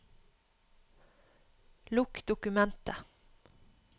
Lukk dokumentet